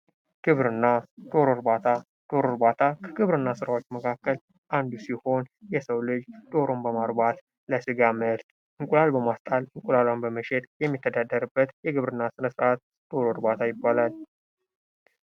ግብርና ፦ ዶሮ እርባታ ፦ ዶሮ እርባታ ከግብርና ስራዎች መካከል አንዱ ሲሆን የሰው ልጅ ዶሮን በማርባት ለስጋ ምርት ፣ እንቁላል በማስጣል ፤ እንቁላሏን በመሸጥ የሚተዳደርበት የግብርና ስነስርዓት ዶሮ እርባታ ይባላል ።